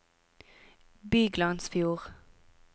Byglandsfjord